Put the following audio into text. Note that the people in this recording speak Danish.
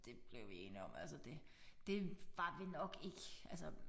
Det blev vi enige om altså det det var vi nok ikke altså